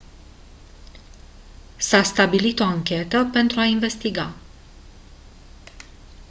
s-a stabilit o anchetă pentru a investiga